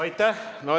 Aitäh!